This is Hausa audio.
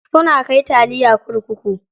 Suna kai taliya kurkuku.